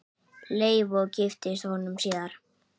Leifi og giftast honum síðar.